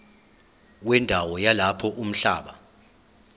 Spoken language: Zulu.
wendawo yalapho umhlaba